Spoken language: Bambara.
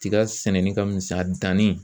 Tiga sɛnɛni ka misɛn a danni ye